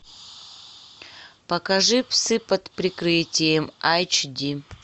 покажи псы под прикрытием айч ди